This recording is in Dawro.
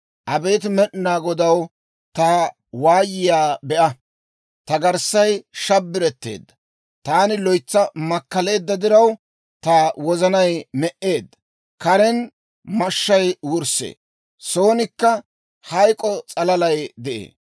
Abeet Med'inaa Godaw, ta waayiyaa be'a! Ta garssay shabbiretteedda. Taani loytsa makkaleedda diraw, ta wozanay me"eedda. Karen mashshay wurssee; soonikka hayk'k'o s'alalay de'ee.